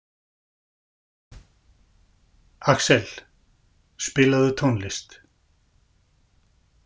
Axel, spilaðu tónlist.